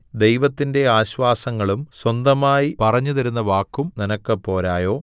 ദൈവത്തിന്റെ ആശ്വാസങ്ങളും സ്വന്തമായി പറഞ്ഞുതരുന്ന വാക്കും നിനക്ക് പോരയോ